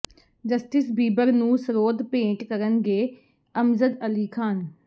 justice Bieber ਨੂੰ ਸਰੋਦ ਭੇਟ ਕਰਨਗੇ ਅਮਜ਼ਦ ਅਲੀ ਖਾਨ